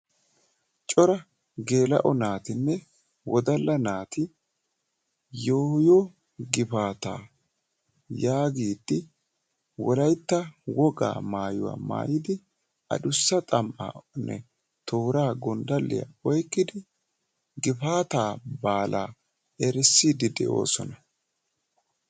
Cora gela"o naatinne wodalla naati yo yo gifaata yaagidi Wolaytta woga maayuwaa maayyidi addussa xam"aa oyqqidi toora gonddaliyaa oyqqidi gifaata baaliyaa ersside de'oosona.